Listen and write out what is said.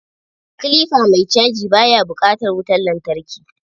Kilifa mai caji ba ya bukatan wutan lantarki.